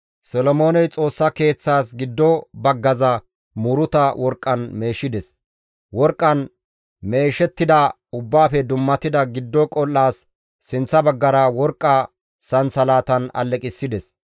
Solomooney Xoossa Keeththaas giddo baggaza muuruta worqqan meeshides; worqqan meeshettida Ubbaafe dummatida giddo qol7aas sinththa baggara worqqa sansalatan aleqissides.